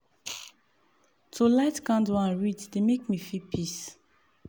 to light candle and read dey make me feel peace